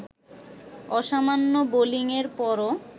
অসামান্য বোলিংয়ের পরও